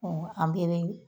an bɛ be